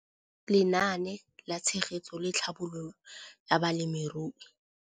Lenaane la Tshegetso le Tlhabololo ya Balemirui